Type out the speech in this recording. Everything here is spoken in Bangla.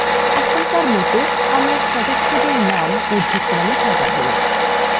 এখনকার মত আমরা সদস্যদের names উর্দ্ধক্রমে সাজাবো